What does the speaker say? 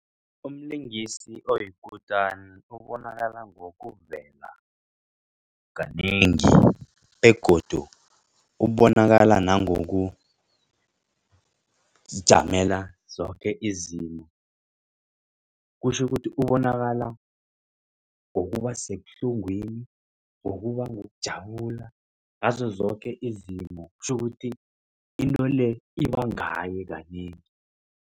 Umlingisi oyikutani ubonakala ngokuvela kanengi begodu ubonakala nangokuzijamela zoke izimo. Kutjho ukuthi ubonakala ngokuba sekubuhlungwini ngokubangokujabula ngazo zoke izinto. Kutjho ukuthi into le ibangaye kanengi.